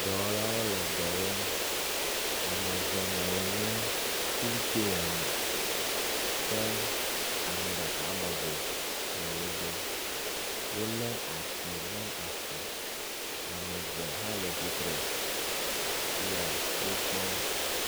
Dɔwɔlawo le dɔ wɔm, ame eve nɔ anyi le xuil tseya me. Ke ame ɖeka bɔbɔ ɖe wo gbɔ. Wolé ati ɖe asi, ame eve hã tsitre le wo kpɔm.